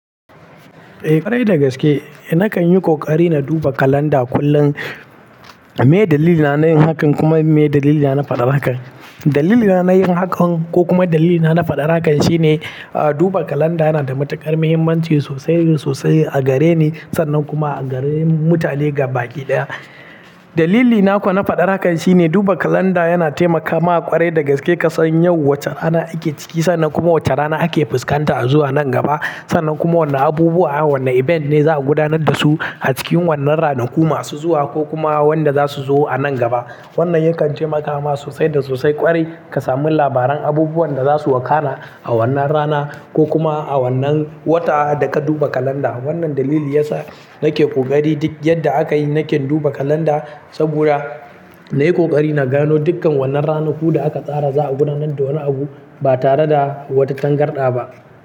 Eh ƙwarai dagaske, nakan yi ƙoƙari na duba kalanda kullum. Me dalilin na yin hakan kuma me dalilina na faɗar hakan? Dalili na yin hakan ko kuma dalilina na faɗar hakan shine duba kalanda yana da matuƙar muhimmanci sosai sosai a gareni sannan kuma a gare mutane gabaki ɗaya. Dalilina ko na faɗar hakan shine duba kalanda yana taimakama ƙwarai dagaske ka san yau wace rana ake ciki sannan kuma wace rana ake fuskanta a zuwa nan gaba sannan kuma wanna abubuwa wanna event ne za a gudanar da su a cikin wannan ranaku masu zuwa ko kuma wanda za su zo a nan gaba. Wannan yakan taimakama sosai da sosai ƙwarai ka sami labaran abubuwan da za su wakala a wannan rana ko kuma a wannan wata da ka duba kalanda. Wannan dalili yasa nake ƙoƙari duk yadda aka yi nake duba kalanda saboda na yi ƙoƙari na gano dukkan wannan ranaku da aka tsara za a gudanar da wani abu ba tare da wata tangarɗa ba.